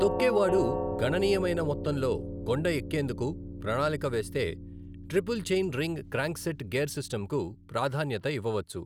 తొక్కేవాడు గణనీయమైన మొత్తంలో కొండ ఎక్కేందుకు ప్రణాళిక వేస్తే, triple chain ring crankset gear సిస్టంకు ప్రాధాన్యత ఇవ్వవచ్చు.